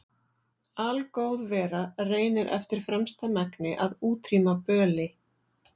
Algóð vera reynir eftir fremsta megni að útrýma böli.